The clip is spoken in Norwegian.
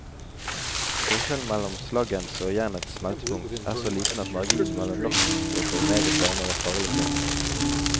Forskjellen mellom slaggens og jernets smeltepunkt er så liten at marginen mellom nok og for meget varme var farlig tynn.